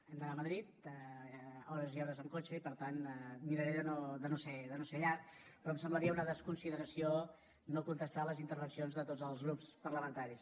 hem d’anar a madrid hores i hores amb cotxe i per tant miraré de no fer ho llarg però em semblaria una desconsideració no contestar les intervencions de tots els grups parlamentaris